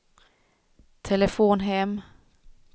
telefon hem